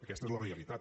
aquesta és la realitat